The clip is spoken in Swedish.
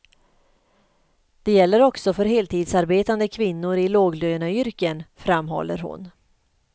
Det gäller också för heltidsarbetande kvinnor i låglöneyrken, framhåller hon.